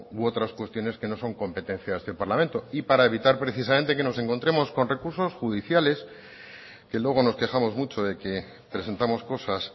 u otras cuestiones que no son competencia de este parlamento y para evitar precisamente que nos encontremos con recursos judiciales que luego nos quejamos mucho de que presentamos cosas